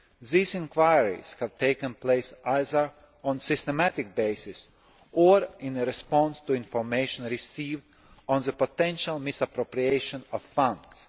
These enquiries have taken place either on a systematic basis or in response to information received on the potential misappropriation of funds.